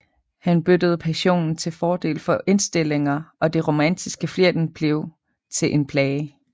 Han byttede passionen til fordel for indstillinger og det romantiske flirten blev til en plage